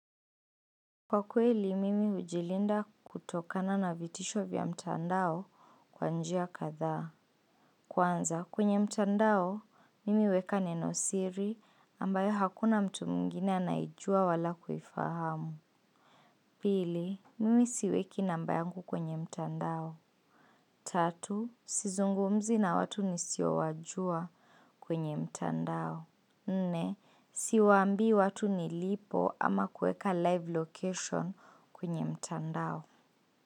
Kwa kweli, mimi hujilinda kutokana na vitisho vya mtandao kwa njia kadha. Kwanza, kwenye mtandao, mimi huweka neno siri ambayo hakuna mtu mwingine anaijua wala kuifahamu. Pili, mimi siweki namba yangu kwenye mtandao. Tatu, sizungumzi na watu nisiowajua kwenye mtandao. Nne, siwaambi watu nilipo ama kuweka live location kwenye mtandao.